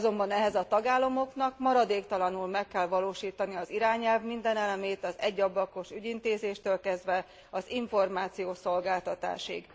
Azonban ehhez a tagállamoknak maradéktalanul meg kell valósítani az irányelv minden elemét, az egyablakos ügyintézéstől kezdve az információszolgáltatásig.